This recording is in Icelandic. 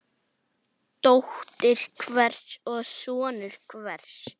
Dóttir hvers og sonur hvers.